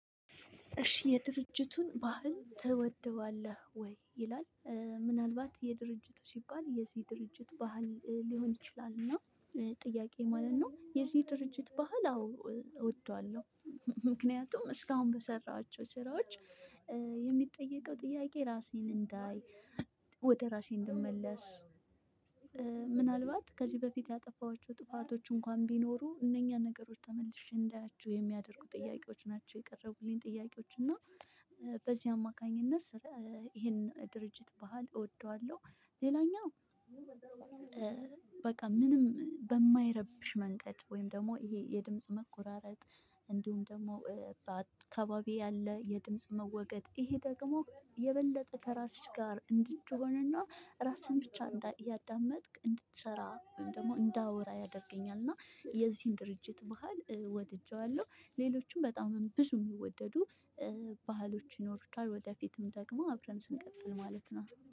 እሺ የድርጅቱን ባህል ትወደዋለህ ወይ ይላል? ምናልባት የድርጅቱ ሲባል የዚህ ድርጅት ባህል ሊሆን ይችላል እና ጥያቄ ማለት ነው የዚህ ድርጅት ባህል? አዎ አውቀዋለሁ ምክንያቱም እስካሁን በሰራኋቸው ስራዎች የሚጠየቀው ጥያቄ ራሴን እንዳይ ወደ ራሴ እንደመለስ። ምናልባት ከዚህ በፍት ያጠፉአቸው ጥፋቶች እንኳን ቢኖሩ እነኛ ነገሮች ተመልሼ እንዳያችሁ የሚያደርጉ ጥያቄዎች ናቸው። የቀረበልኝ ጥያቄዎችና በዚህ አማካኝነት። ይሄን ድርጅት ባህል እወደዋለሁ። ሌላኛው በቃ ምንም በማይረብሽ መንገድ ወይም ደግሞ ይሄ የድምጽ መቆራረጥ። እንዲሁም ደግሞ በአካባቢ ያለ የድምጽ መወገድ ይሄ ደግሞ የበለጠ ከራስሽ ጋር እንድትሆንና ራስሽን ብቻ እያዳመጥክ እንድትሰራ ደግሞ እንዳወራ። እና የዚህን ድርጅት ባህል ወድጄዋለሁ። ሌሎችም በጣም ብዙ የሚወደዱ ባህሎች ይኖሩታል ወደፊትም ደግሞ አብረን ስንቀጥል ማለት ነው